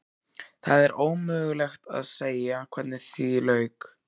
Það er ómögulegt að segja hvernig því lauk.